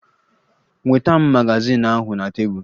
Nweta m magazin ahụ na tebụl!